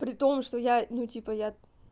при том что я ну типа я